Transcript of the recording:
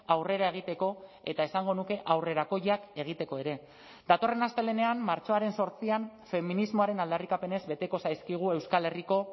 aurrera egiteko eta esango nuke aurrerakoiak egiteko ere datorren astelehenean martxoaren zortzian feminismoaren aldarrikapenez beteko zaizkigu euskal herriko